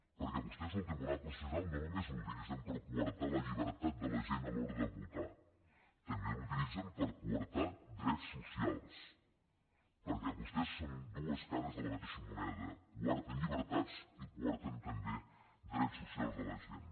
perquè vostès el tribunal constitucional no només l’utilitzen per coartar la llibertat de la gent a l’hora de votar també l’utilitzen per coartar drets socials perquè vostès són dues cares de la mateixa moneda coarten llibertats i coarten també drets socials de la gent